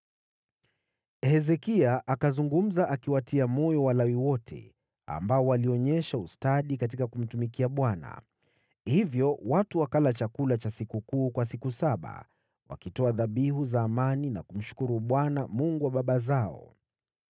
Hezekia akazungumza akiwatia moyo Walawi wote, ambao walionyesha ustadi katika kumtumikia Bwana . Hivyo watu wakala chakula cha sikukuu kwa siku saba, wakitoa sadaka za amani na kumshukuru Bwana , Mungu wa baba zao.